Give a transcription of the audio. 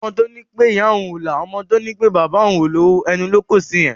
Ọmọ to ní ìyá òún o la, ọmọ tó ní pé bàbà òun o lowo, ẹnu lo kọ sí yẹn